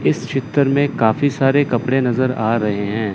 इस चित्र में काफी सारे कपड़े नजर आ रहे हैं।